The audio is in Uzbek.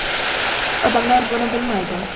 Odamlar buni bilmaydi.